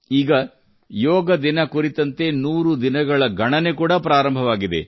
ಈಗ ಯೋಗ ದಿನ ಕುರಿತಂತೆ 100 ದಿನಗಳ ಗಣನೆ ಕೂಡಾ ಪ್ರಾರಂಭವಾಗಿದೆ